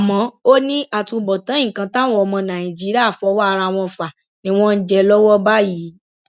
àmọ ó ní àtúbọtán nǹkan táwọn ọmọ nàìjíríà fọwọ ara wọn fà ni wọn ń jẹ lọwọ báyìí